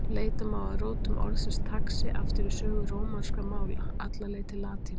Leita má að rótum orðsins taxi aftur í sögu rómanskra mála, alla leið til latínu.